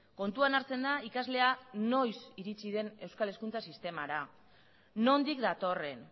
kontuan hartzen da ikaslea noiz iritsi den euskal hezkuntza sistemara nondik datorren